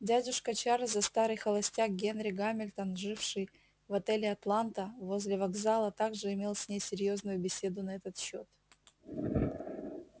дядюшка чарлза старый холостяк генри гамильтон живший в отеле атланта возле вокзала также имел с ней серьёзную беседу на этот счёт